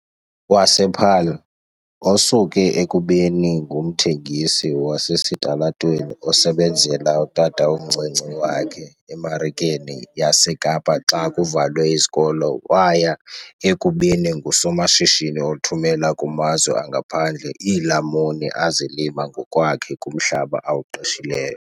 wasePaarl, osuke ekubeni ngumthengisi wasesitalatweni osebenzela utatomncinci wakhe eMarikeni yaseKapa xa kuvalwe izikolo waya ekubeni ngusomashishini othumela kumazwe angaphandle iilamuni azilima ngokwakhe kumhlaba awuqeshileyo.